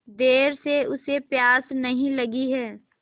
देर से उसे प्यास नहीं लगी हैं